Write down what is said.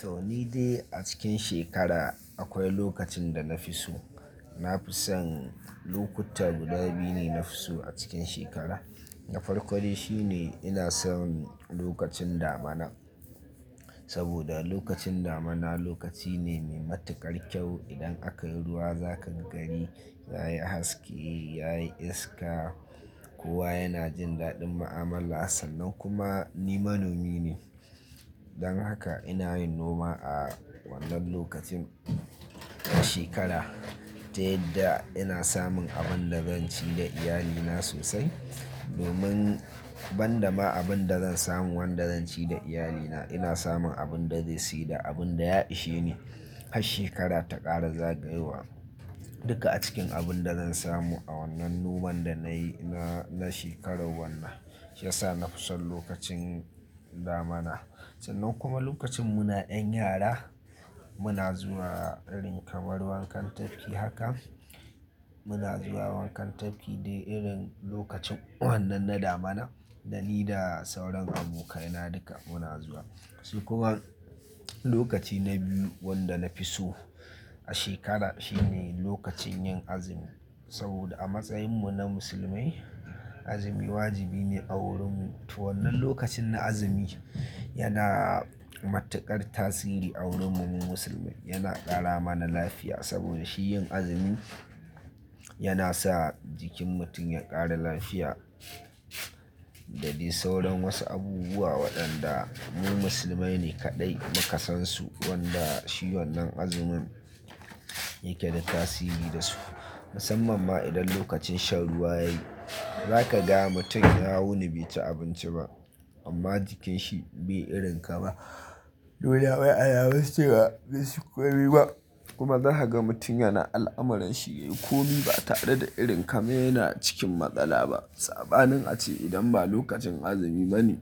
To, ni dai a cikin shekara akwai lokacin da na fi so. Na fi son lokuta guda biyu ne na fi so a cikin shekara. Da farko dai shine ina son lokacin damina saboda lokacin damina lokaci ne mai matuƙar kyau. Idan aka yi ruwa za ka ga gari ya yi haske, ya yi iska. Kowa yana jin daɗin mu'amala sannan kuma ni manomi ne. Dan haka ina yin noma a wannan lokacin shekara, ta yadda ina samun abin da zan ci da iyalina sosai. Domin ban da ma abin da zan samu wanda zan ci da iyalina, ina samun abin da zai siyi da abin da ya ishe ni har shekara ta ƙare, za gayowa duka a cikin abin da zan samu a wannan noman da na yi na shekarar wannan, shi ya sa na fi son lokacin damina. Sannan kuma lokacin muna 'yan yara muna zuwa irin kamar wankan tafki haka muna zuwa wankan tafki dai irin lokacin wannan na damina da ni da sauran abokaina duka muna zuwa. Sai kuma lokaci na biyu wanda na fi so a shekara shine lokacin yin azumi. Saboda a matsayinmu na musulmai, azumi wajibi ne a wurin mu. To wannan lokacin na azumi yana matuƙar tasiri a wurin mu musulmai. Yana ƙara mana lafiya saboda shi yin azumi yana sa jikin mutum ya ƙara lafiya da dai sauran wasu abubuwa waɗanda mu musulmai ne kaɗai muka san su wanda shi wannan azumin yake da tasiri da su. Musamman ma idan lokacin shan ruwa yayi, za ka ga mutum ya wuni bai ci abinci ba amma jikinshi bai irin ka ma. Dole wai alamun cewa ci ko mai ba kuma za ka ga mutum yana al'amuran shi, yayi komi ba tare da irin kaman yana cikin matsala ba. Sabanin a ce idan ba lokacin azumi bane,